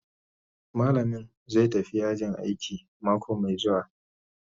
Malamin zai tafi yajin aiki mako mai zuwa.